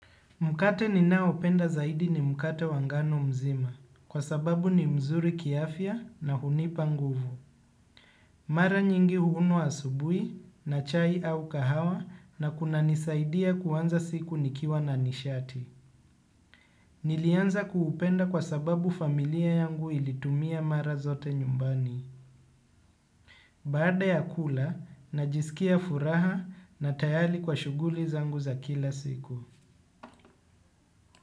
Mkate ninaopenda zaidi ni mkate wa ngano mzima kwa sababu ni mzuri kiafya na hunipa nguvu. Mara nyingi huumwa asubuhi na chai au kahawa na kunanisaidia kuanza siku nikiwa na nishati. Nilianza kuupenda kwa sababu familia yangu ilitumia mara zote nyumbani. Baada ya kula najisikia furaha na tayari kwa shughuli zangu za kila siku.